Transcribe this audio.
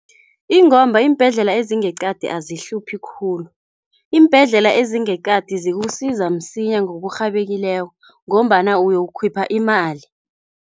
Ingomba iimbhedlela ezingeqadi azihluphi khulu. Iimbhedlela ezingeqadi zikusiza msinya ngokurhabekileko ngombana uyokukhipha imali.